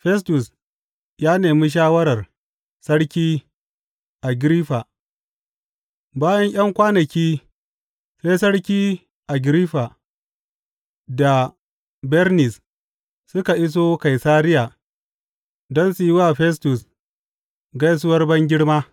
Festus ya nemi shawarar Sarki Agiriffa Bayan ’yan kwanaki sai Sarki Agiriffa da Bernis suka iso Kaisariya don su yi wa Festus gaisuwar bangirma.